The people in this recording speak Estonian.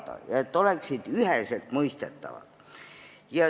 Tähtis on, et need oleksid üheselt mõistetavad.